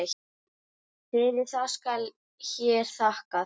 Fyrir það skal hér þakkað.